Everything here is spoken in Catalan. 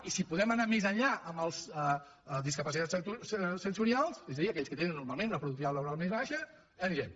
i si podem anar més enllà amb els discapacitats sensorials és a dir aquells que tenen normalment una productivitat laboral més baixa hi anirem